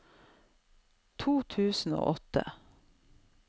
to tusen og åtte